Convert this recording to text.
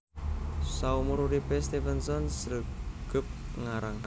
Saumur uripé Stevenson sregep ngarang